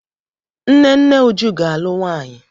Nne nne Uju ga-alụ nwanyị.